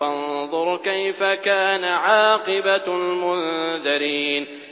فَانظُرْ كَيْفَ كَانَ عَاقِبَةُ الْمُنذَرِينَ